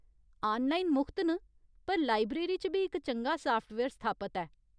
Online मुख्त न, पर लाइब्रेरी च बी इक चंगा साफ्टवेयर स्थापत ऐ।